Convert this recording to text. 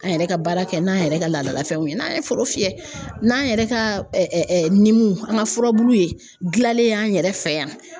An yɛrɛ ka baara kɛ n'an yɛrɛ ka laadalafɛnw ye n'an ye foro fiyɛ n'an yɛrɛ ka an ka furabulu ye gilanlen an yɛrɛ fɛ yan